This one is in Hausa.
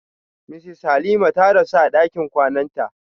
Mrs Halima ta rasu a ɗakin kwananta.